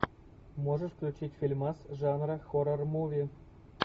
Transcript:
можешь включить фильмас жанра хоррор муви